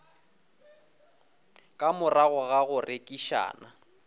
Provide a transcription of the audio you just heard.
ka morago ga go rerišana